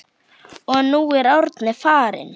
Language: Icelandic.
Og nú er Árni farinn.